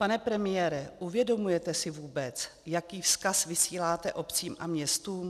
Pane premiére, uvědomujete si vůbec, jaký vzkaz vysíláte obcím a městům?